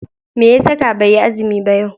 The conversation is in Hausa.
Meya saka baiyi azumi ba yau?